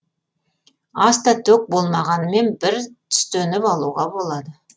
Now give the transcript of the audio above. аста төк болмағанымен бір түстеніп алуға болады